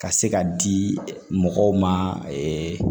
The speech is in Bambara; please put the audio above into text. Ka se ka di mɔgɔw ma